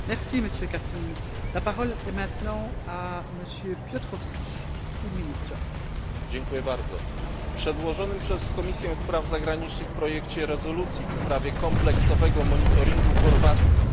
W przedłożonym przez Komisję Spraw Zagranicznych projekcie rezolucji w sprawie kompleksowego monitoringu Chorwacji obok klasycznej unijnej nowomowy w stylu